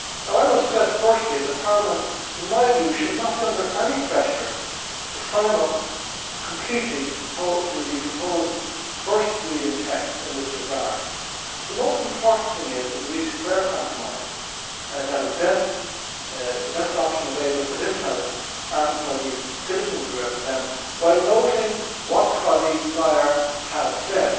I must stress firstly that Parliament, in my view, should not be under any pressure to sign up completely to the proposed first reading text in this regard. The most important thing is that we reach a fair compromise that is the best option available for this House and for the citizens we represent, while noting what our colleague, Mr Szájer has said.